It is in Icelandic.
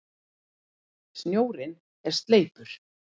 Snjórinn er sleipur!